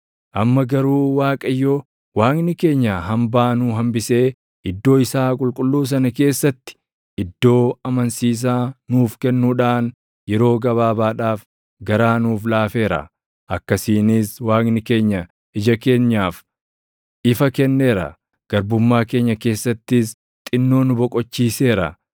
“Amma garuu Waaqayyo Waaqni keenya hambaa nuu hambisee iddoo isaa qulqulluu sana keessatti iddoo amansiisaa nuuf kennuudhaan yeroo gabaabaadhaaf garaa nuuf laafeera; akkasiinis Waaqni keenya ija keenyaaf ifa kenneera; garbummaa keenya keessattis xinnoo nu boqochiiseera.